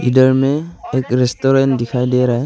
इधर में एक रेस्टोरेंट दिखाई दे रहा है।